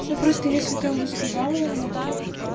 ну просто если ты уже сказала ему то